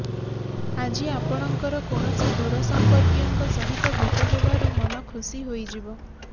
ଆଜି ଆପଣଙ୍କର କୌଣସି ଦୂର ସଂପର୍କୀୟଙ୍କ ସହିତ ଭେଟ ହେବାରୁ ମନ ଖୁସି ହୋଇଯିବ